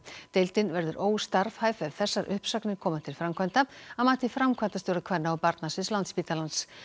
deildin verður óstarfhæf ef þessar uppsagnir koma til framkvæmda að mati framkvæmdastjóra kvenna og barnasviðs Landspítalans